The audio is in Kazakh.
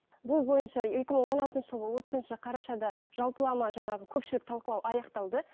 бұл бойынша екі мың он алтыншы жылғы отызыншы қарашада жалпылама жаңағы көпшілік талқылау аяқталды